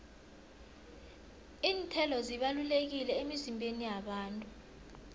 iinthelo zibalulekile emizimbeni yabantu